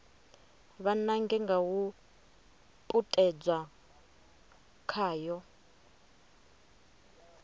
vha nange nga u puṱedza khayo